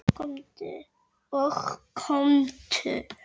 Kælið sósuna vel.